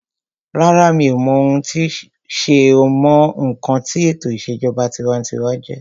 Rárá, mi ò mọ ohun tí sé o mọ ǹkan tí ètò ìṣèjọba tinwatinwa jẹjẹ́